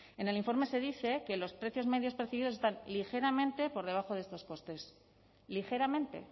en el informe se dice que los precios medios percibidos están ligeramente por debajo de estos costes ligeramente